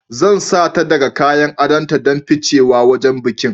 Zan sata daga kayan adonta don ficewa wajen bikin